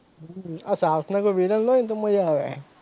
હમ આ south કોઈ villain હોય તો મજા આવે,